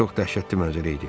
Çox dəhşətli mənzərə idi.